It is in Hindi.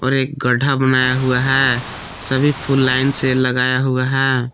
और एक गड्ढा बनाया हुआ है सभी फुल लाइन से लगाया हुआ है।